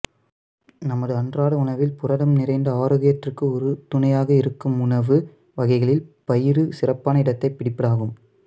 நமது அன்றாட உணவில் புரதம் நிறைந்த ஆரோக்கியத்திற்கு உறுதுணையாக இருக்கும் உணவு வகைகளில் பயறு சிறப்பான இடத்தைப் பிடிப்பதாகும்